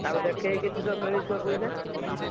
ତାକୁ ଦେଖେଇକି ତ କିଛି ମିଳୁଥିବ ତ ପଇସା?